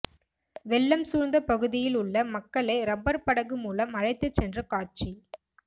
வெள்ளம் சூழ்ந்த பகுதியில் உள்ள மக்களை ரப்பர் படகு மூலம் அழைத்து சென்ற காட்சி